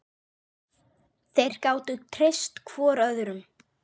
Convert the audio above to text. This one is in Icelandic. Þeir gátu treyst hvor öðrum.